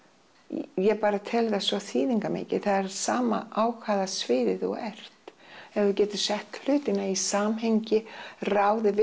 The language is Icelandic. ég bara tel það svo þýðingarmikið það er sama á hvaða sviði þú ert ef þú getur sett hlutina í samhengi ráðið við